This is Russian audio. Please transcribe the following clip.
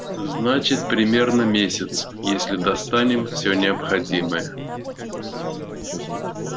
значит примерно месяц если достанем всё необходимое